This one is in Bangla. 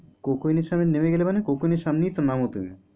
Coke oven এর সামনে নেমে গেলে মানে coke oven এর সামনেই নামো তো তুমি?